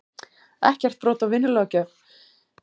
Ekki brot á vinnulöggjöf